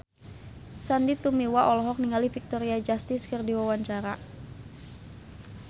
Sandy Tumiwa olohok ningali Victoria Justice keur diwawancara